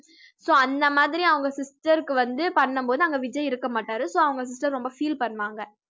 so அந்த மாதிரி அவங்க sister க்கு வந்து பண்ணும்போது அங்க விஜய் இருக்க மாட்டாரு so அவங்க sister ரொம்ப feel பண்ணுவாங்க